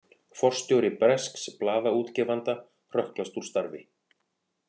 Forstjóri bresks blaðaútgefanda hrökklast úr starfi